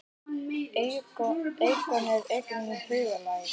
Einokun er einnig huglæg.